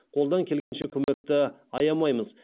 қолдан келгенше көмекті аямаймыз